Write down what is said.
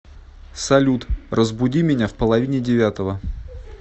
салют разбуди меня в половине девятого